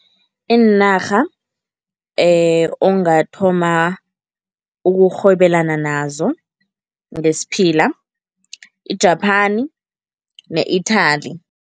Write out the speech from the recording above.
Iinarha ongathoma ukurhwebelana nazo ngesiphila, i-Japan ne-Italy.